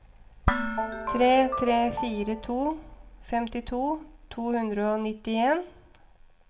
tre tre fire to femtito to hundre og nittien